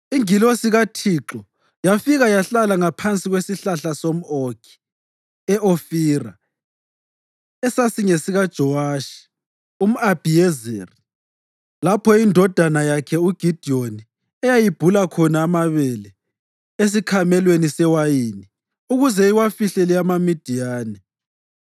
Ingilosi kaThixo yafika yahlala ngaphansi kwesihlahla somʼOkhi e-Ofira esasingesikaJowashi umʼAbhiyezeri lapho indodana yakhe uGidiyoni eyayibhula khona amabele esikhamelweni sewayini ukuze iwafihlele amaMidiyani.